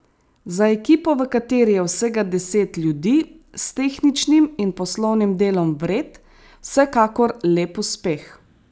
Za ekipo, v kateri je vsega deset ljudi, s tehničnim in poslovnim delom vred, vsekakor lep uspeh.